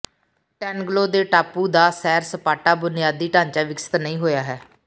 ਟੈਨਗਲੋ ਦੇ ਟਾਪੂ ਦਾ ਸੈਰ ਸਪਾਟਾ ਬੁਨਿਆਦੀ ਢਾਂਚਾ ਵਿਕਸਿਤ ਨਹੀਂ ਹੋਇਆ ਹੈ